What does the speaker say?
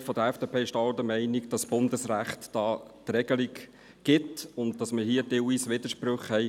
Die Mehrheit der FDP ist auch der Meinung, das Bundesrecht gebe die Regelung vor und hier bestünden teilweise Widersprüche.